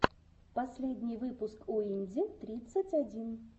последний выпуск уинди тридцать один